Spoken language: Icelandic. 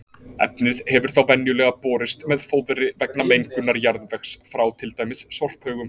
Efnið hefur þá venjulega borist með fóðri vegna mengunar jarðvegs frá til dæmis sorphaugum.